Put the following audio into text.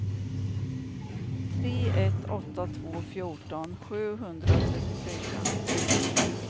tre ett åtta två fjorton sjuhundratrettiofyra